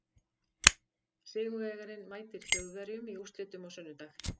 Sigurvegarinn mætir Þjóðverjum í úrslitum á sunnudag.